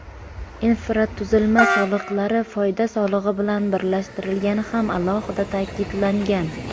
Infratuzilma soliqlari foyda solig‘i bilan birlashtirilgani ham alohida ta’kidlangan.